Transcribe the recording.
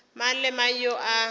mang le mang yo e